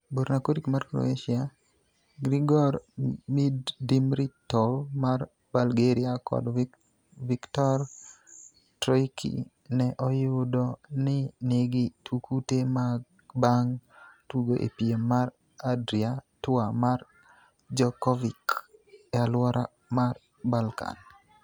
Borna Coric mar Croatia, Grigor Dimitrov mar Bulgaria kod Viktor Troicki ne oyudo ni nigi kute bang' tugo e piem mar Adria Tour mar Djokovic e alwora mar Balkan.